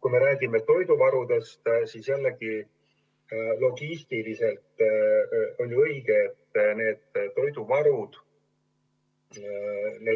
Kui me räägime toiduvarudest, siis on logistiliselt ju õige, et neid varusid